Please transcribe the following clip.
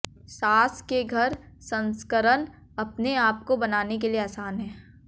sauce के घर संस्करण अपने आप को बनाने के लिए आसान है